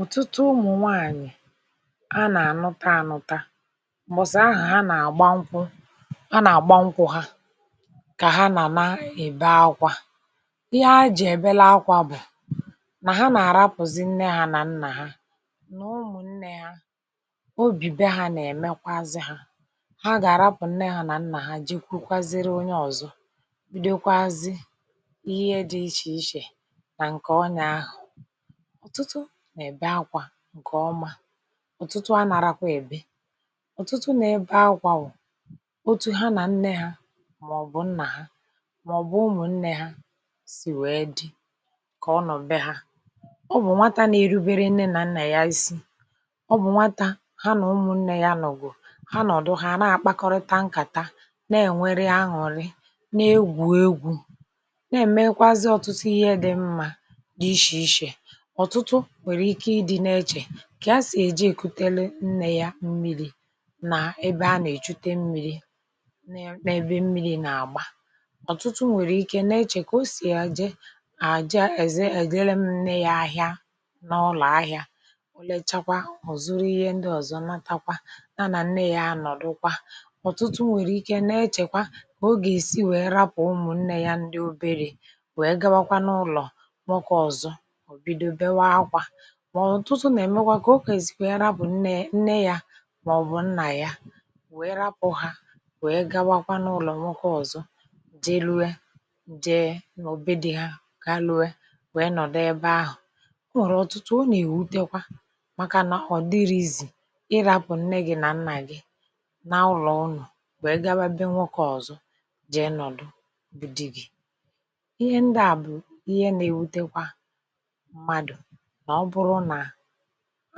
ụ̀tụtụ ụmụ̀ nwaànyị̀ a nà-ànụtaànụta m̀bọ̀sị̀ ahụ̀ ha nà-àgba nkwụ ha nà-àgba nkwụ̇ ha kà ha na-èbe akwȧ ihe a jì èbelaakwȧ bụ̀ nà ha nà-àrapụ̀zi nne ha nà nnà ha nà ụmụ̀ nnė ha obìbe ha nà-èmekwa azị hȧ ha gà-àrapụ̀ nne ha nà nnà ha jikwu kwaziri onye ọ̀zọ bụdekwazị ihe dị ichè ichè nà ǹkè ọnyà ahụ̀ ọtụtụ na-ebe akwa nke ọma ọ̀tụtụ anàrakwa èbe ọ̀tụtụ nà-ebe akwȧ nwò otu ha nà nne ha màọ̀bụ̀ nnà ha màọ̀bụ̀ ụmụ̀ nnė ha sì wee dị kà ọ nọ̀be ha ọ bụ̀ nwata na-erubere nne nà nnà ya isi ọ bụ̀ nwata ha nà ụmụ̀ nnė ya nọ̀gwù ha nọ̀dụ ha àna àkpakọrịta nkàta na-ènwere aṅụ̀lị na-egwù egwù na-èmekwazị ọ̀tụtụ ihe dị̇ mmȧ dị ịshì ịshè ọtụtụ nwere ike ịdị na-eche kà a sì èjikutere nne ya mmiri̇ nà ebe a nà-èchute mmiri n’ebe mmi̇ri̇ nà-àgba ọ̀tụtụ nwèrè ike na-echè kà o sì àje àja èze ègela mne ya ahịa n’ụlọ̀ ahịȧ ò lechakwa ọ̀ zuru ihe ndị ọ̀zọ natakwa na nà nne ya anọ̀dụkwa ọ̀tụtụ nwèrè ike na-echèkwa kà ogè si wèe rapụ̀ ụmụ̀ nne ya ndị oberė wèe gawakwa n’ụlọ̀ nwoke ọ̀zọ ọ bido bekee akwa ma ọtụtụ na emekwa ka ọ ga-esi wee rapụ nne nne yȧ màọ̀bụ̀ nnà ya wee rapụ̇ ha wee gawakwa n’ụlọ̀ nwokė ọ̀zọ jee ruo jee nà be di ha ka luo wee nwee nọ̀dụ ebe ahụ̀ o nwèrè ọ̀tụtụ o nà-èwutekwa màkà nà ọ̀ dịrịzị irȧpụ̀ nne gị nà nnà gị na ụlọ̀ ụnụ̀ wee gawa be nwokė ọ̀zọ jị̀ ịnọ̀dụ bụ̀ di gị ihe ndị à bụ̀ ihe nà-ewutekwa mmadụ ma ọ bụrụ na